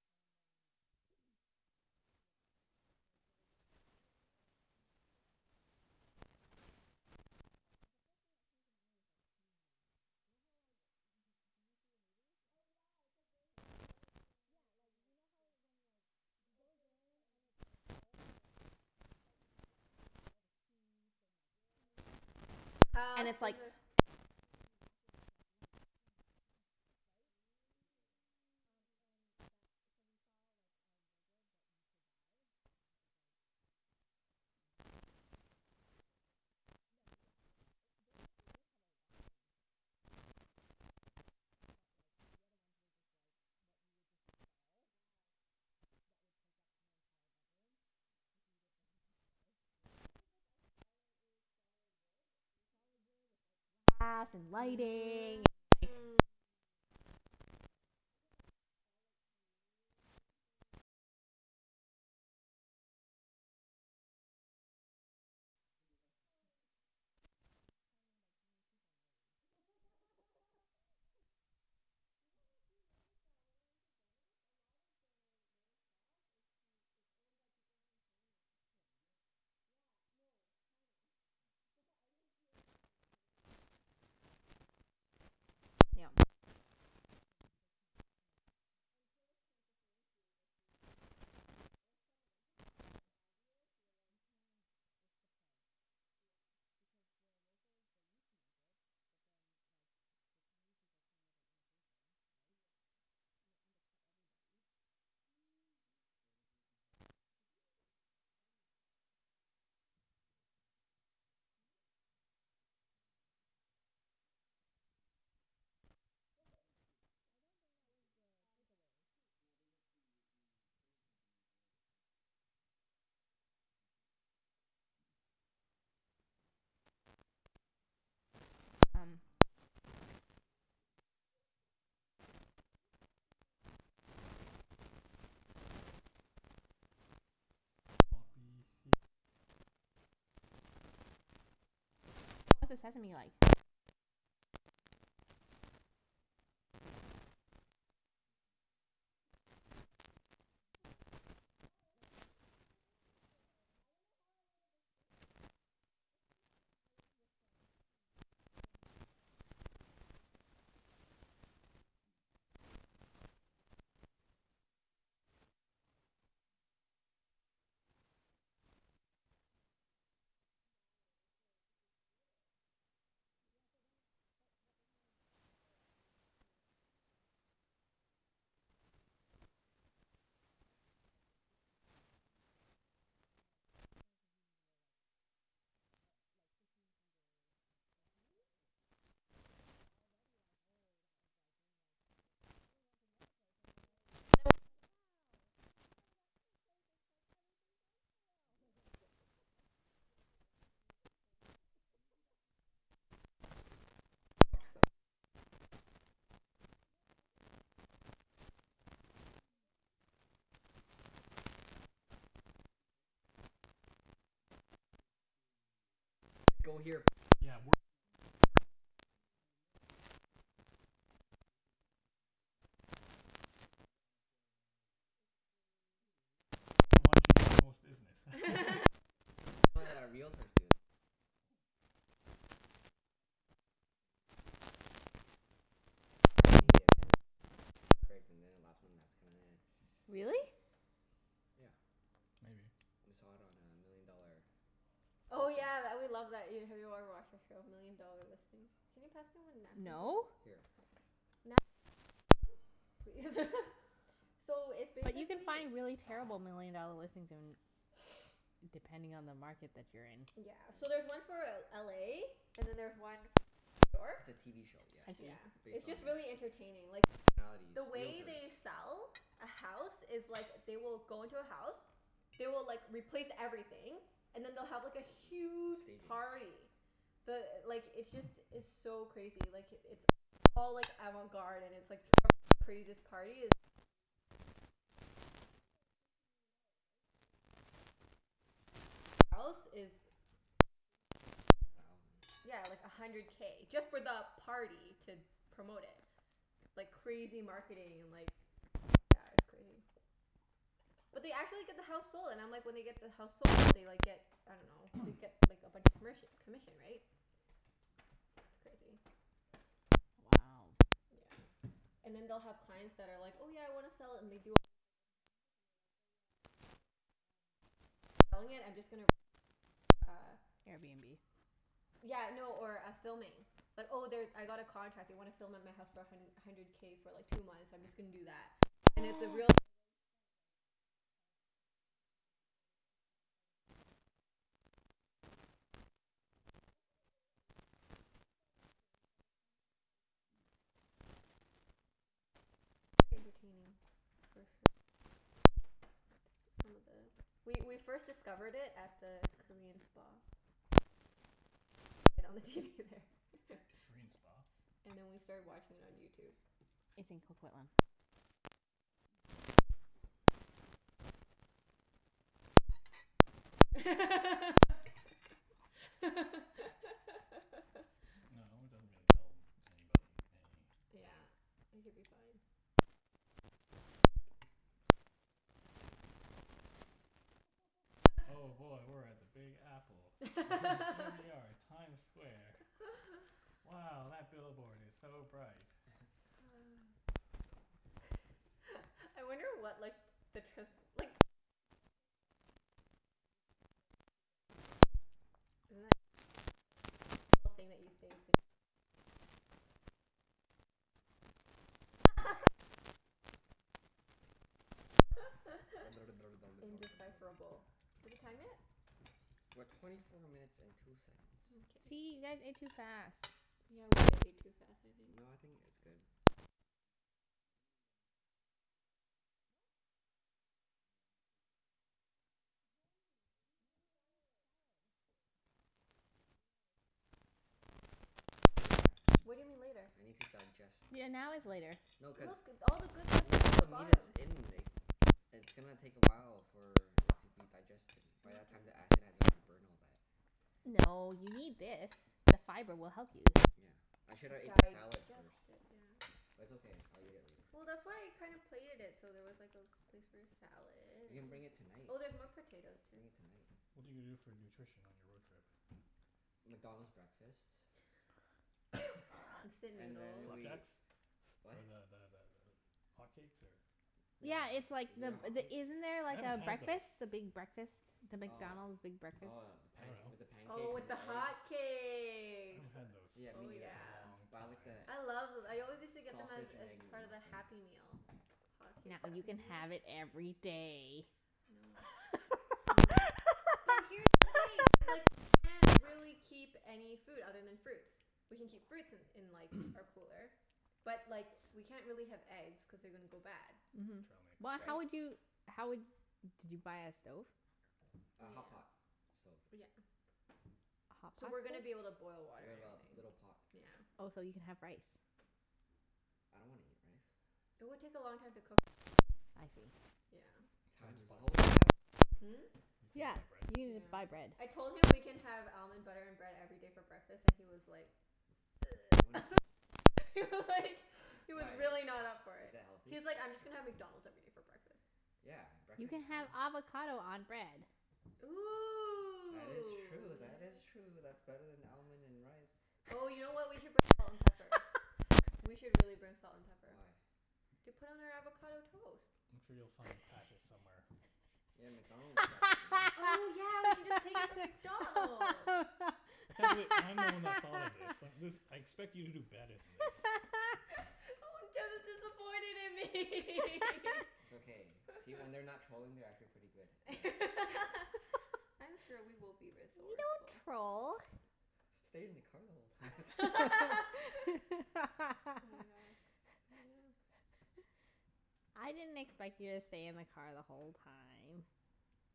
And um yeah, like there was a wardrobe there. And think like the the first thing that came to mind was like Kingsmen. You know how like, d- did you see the movie? Oh Yeah. yeah, it's like very Where like it's like, yeah, elegant like and you like know how when like You he open goes in it and and then it's like all the things that you Mhm can mhm pick mhm. from, and like all the suits and Yeah, like yeah, shoes, yeah. And and all all the the, and cuffs it's and the like and like as soon as you walk in it's like lights, lights, lights, Mm. right? We should go That there. sounds Um and really th- so cool. we saw like a wardrobe that you could buy. And it was like thirty thousand dollars. Wasn't as deep. No, yeah, it, they actually did have a walk-in uh model but like the other ones were just like what you would just Wow. install that would take up your entire bedroom if Yeah. you lived in a condo. So it was like a solid it was solid wood? Was something Solid wood with like glass and lighting and like, you know. Mm. And we're like Made by s- It's handmade by Chinese people in Italy. You know actually I noticed that when I went to Venice, a lot of the little shops, it's Chi- it's owned by people from China. Or Yep. India? Yeah. No. China. Oh. It's all, I didn't see any Indian owners. They were all, like, Chinese. Yep. It's cuz they can't, like And tourists can't differentiate if they are, like, real or not. Well, some of them, some of them are Yes pretty you obvious. can. You're You like can. It's the price. Yeah. Because the locals, they used to make it, but then like the Chinese people came with their imitations, right? Yeah. And they undercut everybody. See? They're making it competitive. Did you use your knife? I didn't even use my knife. Chinese people. Hmm? They make everything good. Cheap. They What? make everything cheap. I I don't dunno think good. that was Um the takeaway. cheap. No, they make the the bigger companies lower their prices. To compete. I dunno what you're talking about. Yeah. Um Just gonna Anyways. agree with you. So which wh- which sauce did you like better? The poppy seed or the sesame one? Or the Thai. Poppy seed, I think. Mm. But yeah, I mean it was okay. What was the sesame like? Was it worth trying? I dunno. I You got a bit of dunno. sauce on your pinky knuckle. Mm? Wow, that's a really That good was a very, descriptor. I yeah don't know how I would've explained it. That's pretty good. I would have just said Yeah. Mmm. Yeah, furniture. We're at twenty minutes. Wow, that's a, it's a steal. Yeah, so then, but but the thing is is that before we went to um like a place that had like custom-made furniture as well. Like they could do custom-made furniture, and like the furniture pieces were like Not a thou- designer, like but like fifteen hundred or something Oh, per okay. For a piece. bookcase. And I, we were already like, "Oh, that was like way more expensive." And then we went to the other And you're place and like, we were "Oh." like and then we were like, "Wow!" If we go to that Yeah, other like ninety place percent off. Or it's maybe that's their like strategy everything's to uh on upsell you? sale. Maybe. No, but I think that was the average price of the stuff there, right? Maybe you need Probably? three stores? You need three stores. Furniture sh- stores next to each other? Mhm. Oh, you have really shitty like Like go here first, Yeah, worse than IKEA first. yeah. You Mhm. have the middle one And then, which is you know, middle price rain And then you have the unaffordable like Extreme. Extreme. And the middle Luxury. one to get the most business. That's what uh realtors do. They bring you to like houses to prep you. Mm. Like a high-priced one but looks crappy, and then a middle one that's perfect, and then a last one that's kind of Really? Yeah. Maybe. We saw it on uh Million Dollar Oh Listings. yeah, tha- we love that, have you ever watched that show? Million Dollar Listings. Can you pass me one napkin, No. please? Here. What? Napkin please. So, it's But you can basically find really terrible million dollar listings in, depending on the market that you're in. Yeah. So there's one for L- LA and then there's one for New York. It's a TV show, yeah. I Yeah. see. Based It's on just really entertaining. uh Like personalities. The way Realtors. they sell a house is like, they will go into a house. They will like, replace everything, and then they'll have like a huge Staging. party. The, like, it's just, it's so crazy. Like, it's it's all like avant-garde and it's like whoever has the craziest party is the more you can sell. Cuz the homes are like fifteen million dollars, right? So their budget to like, have an open house is A crazy. hundred thousand. Yeah, like a hundred K, just for the party to promote it. Like crazy marketing and like yeah, it's crazy. But they actually get the house sold, and I'm like, when they get the house sold they like get, I dunno, they get like a bunch of commerc- commission, right? It's crazy. Wow. Yeah. And then they'll have clients that are like, "Oh yeah, I wanna sell it," and they do all this like open house and stuff, and they're like, "Oh yeah, by the way, um instead of selling it I'm just gonna rent it out to uh" Airbnb? Yeah, no, or a filming. Like, "Oh they, I got a contract. They wanna film at my house for a hun- hundred K for like two months. I'm just gonna do that." And if the realtor already spent like, I dunno, like twenty to fifty K to like have a party and everything, right? But that's how much they make. Like they're c- once they sell a listing it's like a ton of money, right? So Different world. Yeah, it's a different world. It's very entertaining for sure. S- some of the, we we first discovered it at the Korean spa. Cuz Mhm, yes. they'd play it, they played it on the TV there. Korean spa? And then we started watching it on YouTube. It's in Coquitlam. Yep. We might have to strike that out. No, it doesn't really tell anybody any thing. Yeah. It could be fine. Something something New York. I'm, oh boy, we're at the Big Apple. H- here we are at Times Square. Wow, that billboard is so bright. I wonder what like the trans- like, if you're a transcriber you just can't think. You just have to like keep writing. Isn't that cool? Every th- single thing that you say is gonna be written. I don't know what to write. I don't know what to write. I don't know what to write. I don't know what to write. Unintelligible. Indecipherable. Is it time yet? We're twenty four minutes and two seconds. Gee, Mkay. you guys ate too fast. Yeah, we did eat too fast, I think. No, I think it's good. I'm digesting. That I was didn't quick eat any though. salad. What? Yeah, I went straight for the salmon. It was Hun, very eat tasty. your You need to salad. eat salad. You know I was gonna do this to you. No, no, I'll eat it later. What do you mean, later? I need to digest. Yeah, now is later. No Look. cuz, All the good stuff no is all at the the meat bottom. is in It's gonna take a while for it to be digested. By that time the acid has already burned all that. No, you need this. The fiber will help you. Yeah. I shoulda ate the salad Digest first. it, yeah. But it's okay. I'll eat it later. Well, that's why I kinda plated it so there was like a place for your salad. We can bring it tonight. Oh, there's more potatoes, too. Bring it tonight. What are you gonna do for nutrition on your road trip? McDonald's breakfast. Instant And then noodles. we, Flapjacks? what? Or the the the th- hotcakes or No. Yeah it's like, Is it a the the, hotcakes? isn't there a I haven't had those. breakfast? The big breakfast? The Oh. McDonald's big breakfast? Oh the I panc- dunno. with the Oh, pancakes with and the the eggs? I hotcakes. haven't had those for Yeah, me Oh neither. a yeah. long Buy like the time. I love th- I always used to get them as sausage and as egg part of the McMuffin. Happy Meal. Hotcakes Now you Happy can Meal. have it every day. No. Mm. But here's the thing, it's like we can't really keep any food other than fruits. We can keep fruits in in like, our cooler. But, like, we can't really have eggs cuz they're gonna go bad. Mhm. Trail mix. But Right? how would you, how would, did you buy a stove? A Yeah. hotpot stove. Yeah. A hot So pot we're gonna be able to stove? boil water We and have a everything. little pot. Yeah. Oh, so you can have rice. I don't wanna eat rice. It would take a long time to cook, though. I see. Yeah. You'll have Time to is buy all we bread. have on the road. Hmm? You still need Yeah, buy you bread. can Yeah. j- buy bread. I told him we can have almond butter and bread every day for breakfast and he was like You wanna kill me? He was like He was Why, really not up for is it. that healthy? He was like, "I'm just gonna have McDonald's every day for breakfast." Yeah, You breakfast can is fine. have avocado on bread. That Ooh, is true. That is true. yes. That's better than almond and rice. Oh you know what? We could bring salt and pepper. We should really bring salt and pepper. Why? To put on our avocado toast. I'm sure you'll find packets somewhere. Yeah, McDonald's packet, you know? Oh yeah, we can just take it from McDonald's. I can't believe I'm the one that thought of this. I- this, I expect you to do better than this. Oh, Jeff is disappointed in me. It's okay. See? When they're not trolling they're actually pretty good and nice. I'm sure we will be We resourceful. don't troll. "Stayed in the car the whole time." Oh my god, yeah. I didn't expect you to stay in the car the whole time.